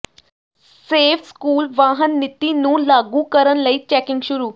safe school ਵਾਹਨ ਨੀਤੀ ਨੂੰ ਲਾਗੂ ਕਰਨ ਲਈ ਚੈਕਿੰਗ ਸ਼ੁਰੂ